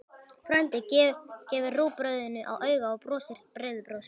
Frændi gefur rúgbrauðinu auga og brosir breiðu brosi.